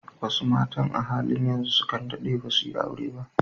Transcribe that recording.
Wasu matan a halin yanzu sukan daɗe dasu yi aure ba.